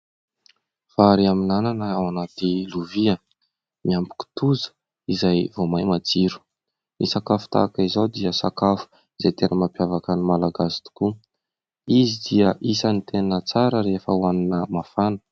Vary amin'anana ao anaty lovia miampy kitoza izay vao may matsiro. Ny sakafo tahaka izao dia sakafo izay tena mampiavaka ny malagasy tokoa. Izy dia isan'ny tena tsara rehefa hohanina mafana.